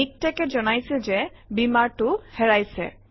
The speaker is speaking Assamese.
MikTeX এ জনাইছে যে Beamer টো হেৰাইছে